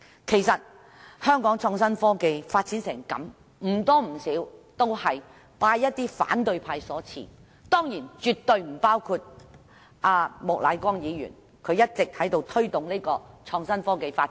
其實香港的創新科技發展成這樣子，不多不少都是拜一些反對派所賜，但當然，絕對不包括莫乃光議員，他一直在推動創新科技發展。